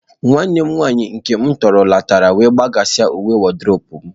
Nwanne m nwanyị nke m tọrọ letara wee gbasasịa uwe mwụda m.